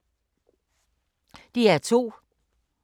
DR2